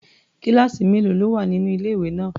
Kíláàsì mélòó ló wà nínú ilé-ìwé náà?